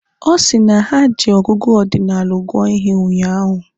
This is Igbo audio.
Ọ sị na ha ji ọgụgụ ọdinalụ gụọ ihe ụnyaahụ.